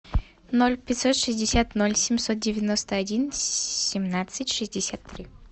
ноль пятьсот шестьдесят ноль семьсот девяносто один семнадцать шестьдесят три